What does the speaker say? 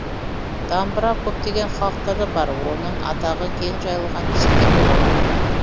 дамбыра көптеген халықтарда бар оның атағы кең жайылған десе де болады